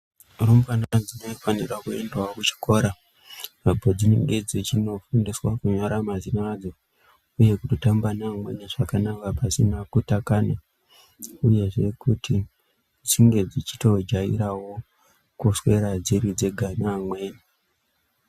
Rumbwana dzinofanira kuendawo kuchikora apo dzinenge dzichinofundiswa kunyora mazina adzo uye kutotamba nevamweni zvakanaka pasina kutakana uyezve kuti dzinge dzichitojairawo kuswera dziri dzenga neamweni.